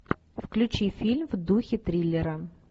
включи фильм в духе триллера